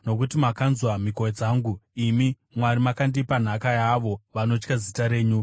Nokuti makanzwa mhiko dzangu, imi Mwari; makandipa nhaka yaavo vanotya zita renyu.